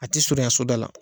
A tɛ surunya soda la.